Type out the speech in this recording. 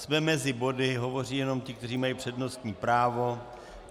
Jsme mezi body, hovoří jenom ti, kteří mají přednostní právo.